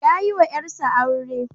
Ya yiwa ƴarsa aure.